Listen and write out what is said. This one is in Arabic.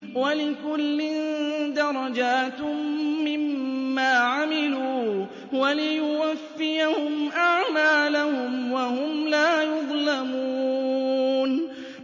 وَلِكُلٍّ دَرَجَاتٌ مِّمَّا عَمِلُوا ۖ وَلِيُوَفِّيَهُمْ أَعْمَالَهُمْ وَهُمْ لَا يُظْلَمُونَ